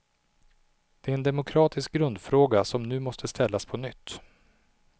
Det är en demokratisk grundfråga som nu måste ställas på nytt.